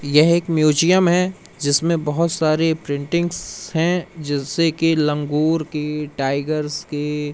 यह एक म्यूजियम है जिसमें बहुत सारे प्रिंटिंग्स हैं जिससे कि लंगूर की टाइगर्स की--